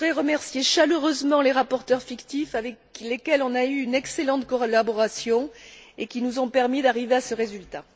Je voudrais remercier chaleureusement les rapporteurs fictifs, avec lesquels nous avons eu une excellente collaboration et qui nous ont permis d'arriver à ce résultat.